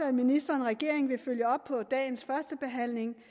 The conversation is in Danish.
at ministeren og regeringen vil følge op på dagens førstebehandling